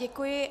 Děkuji.